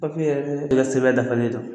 Papiye i kɛ sɛbɛn dafalen don.